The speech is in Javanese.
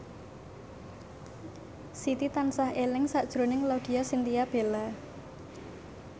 Siti tansah eling sakjroning Laudya Chintya Bella